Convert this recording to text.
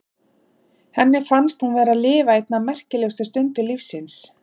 Henni finnst hún vera að lifa eina af merkilegustu stundum lífs síns.